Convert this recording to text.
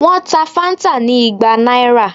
Wọ́n ta Fanta ni igba náírà